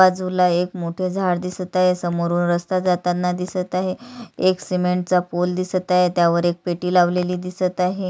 बाजूला एक मोठ झाड दिसत आहे समोरून रस्ता जाताना दिसत आहे एक सीमेंटचा पोल दिसत आहे त्यावर एक पेटी लावलेली दिसत आहे.